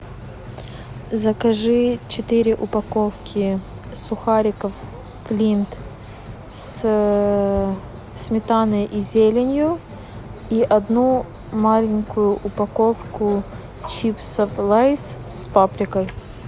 закажи четыре упаковки сухариков флинт с сметаной и зеленью и одну маленькую упаковку чипсов лейс с паприкой